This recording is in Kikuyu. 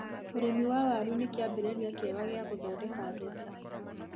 Ũrĩmi wa waru nĩ kĩambĩrĩria kĩega gia gũthondeka mbeca.